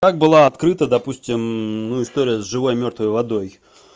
как была открыта допустим ну история с живой и мёртвой водой